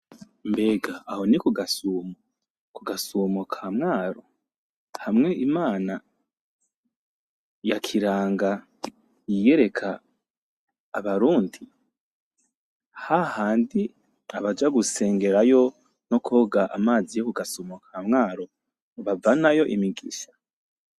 Mbega aho ni ku gasumo? Ku gasumo ka Mwaro? Hamwe Imana ya Kiranga yiyereka abarundi? Hahandi abaja gusengerayo no kwoga amazi yo kugasumo ka Mwaro bavanayo imigisha?